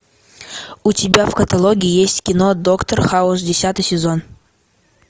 у тебя в каталоге есть кино доктор хаус десятый сезон